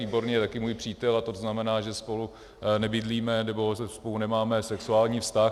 Výborný je také můj přítel a to znamená, že spolu nebydlíme nebo spolu nemáme sexuální vztah.